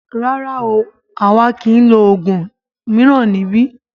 Rárá o, àwa kìí lo oògùn mìíràn níbí.